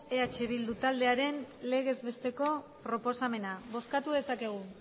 eh bildu taldearen legezbesteko proposamena bozkatu dezakegu